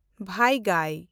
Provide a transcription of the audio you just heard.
ᱵᱮᱭᱜᱟᱭ